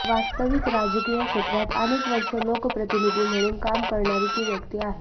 वास्तविक राजकीय क्षेत्रात अनेक वर्ष लोकप्रतिनिधी म्हणून काम करणारी ती व्यक्ती आहे